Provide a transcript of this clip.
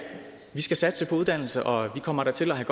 vi skal satse på uddannelse og vi kommer da til at have